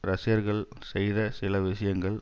ரஷ்யர்கள் செய்த சில விஷயங்கள்